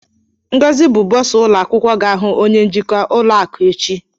Ngozi bụ bursar ụlọ akwụkwọ ga-ahụ onye njikwa ụlọ akụ echi.